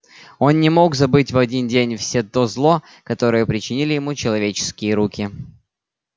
он не мог забыть в один день все то зло которое причинили ему человеческие руки